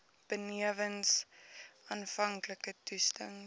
benewens aanvanklike toetsings